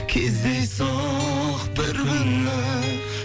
кездейсоқ бір күні